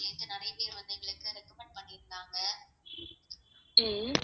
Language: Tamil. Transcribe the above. ஹம்